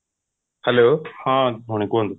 hello ହଁ morning କୁହନ୍ତୁ